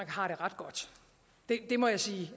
har det ret godt det må jeg sige